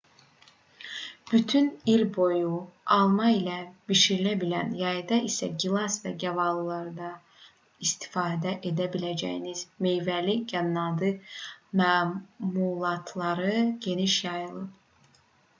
bütün il boyu alma ilə bişirilə bilən yayda isə gilas və gavalılardan da istifadə edə biləcəyiniz meyvəli qənnadı məmulatları geniş yayılıb